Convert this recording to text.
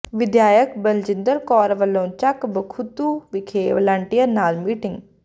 ਵਿਧਾਇਕ ਬਲਜਿੰਦਰ ਕੌਰ ਵੱਲੋਂ ਚੱਕ ਬਖਤੂ ਵਿਖੇ ਵਲੰਟੀਅਰਾਂ ਨਾਲ ਮੀਟਿੰਗ